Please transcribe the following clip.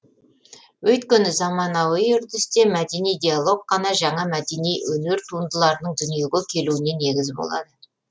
өйткені заманауи үрдісте мәдени диалог қана жаңа мәнеди өнер туындыларының дүниеге келуіне негіз болады